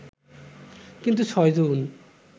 কিন্তু ৬ জুন